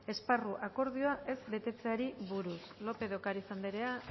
esparru akordioa ez betetzeari buruz lópez de ocariz andrea